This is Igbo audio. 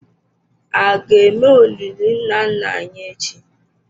A ga-eme olili nna nna anyị echi?